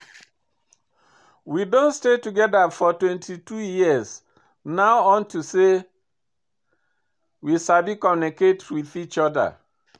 We don stay together for twenty two years now unto say we sabi communicate with each other.